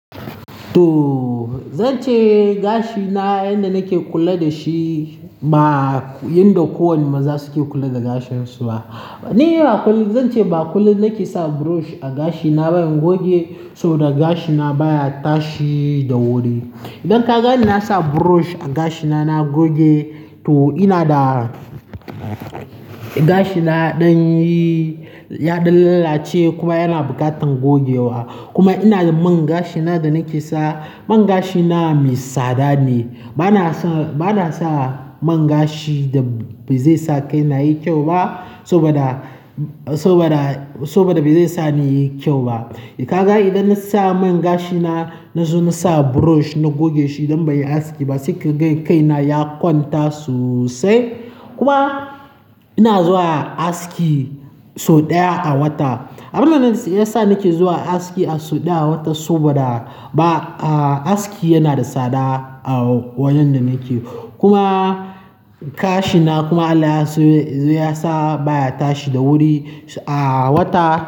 To zance gashina, yanda nake kula dashi ba yanda kowane maza suke kula da gashinsu ba. Ni zance ba kullum nake sa brush a gashina ba in goge saboda gashina baya tashi da wuri. Idan kaganni nasa brush a gashina na goge to inada gashina yaɗan yaɗan lallace kuma yana buƙatar gogewa. Kuma inada man gashina danake sawa. Man gashina mai tsada ne. Bana sa, bana sa man gashi da ba zaisa kaina yayi kyau ba saboda, saboda, saboda ba zaisa nayi kyau ba. Idan kaga idan nasa man gashina, nazo nasa brush nagoge shi idan banyi aski ba sai kaga kaina ya kwanta sosai. Kuma ina zuwa aski sau ɗaya a wata. Abinda yasa nake zuwa aski a sau ɗaya a wata saboda ba, aski yanada tsada a wajen da nake. Kuma gashina kuma Allah ya sau-- ya sa baya tashi da wuri a wata.